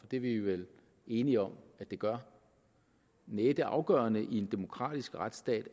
det er vi vel enige om at det gør næh det afgørende i en demokratisk retsstat